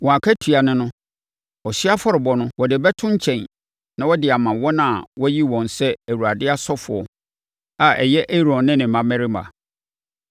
Wɔn akatua ne no: Ɔhyeɛ afɔrebɔ no, wɔde bɛto nkyɛn na wɔde ama wɔn a wɔayi wɔn sɛ Awurade asɔfoɔ a ɛyɛ Aaron ne ne mmammarima.